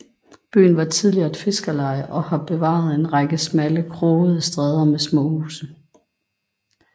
Byen var tidligere et fiskerleje og har bevaret en række smalle krogede stræder med små huse